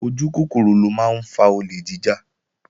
Ojúkòkòrò ló máa ń fa olè jíjà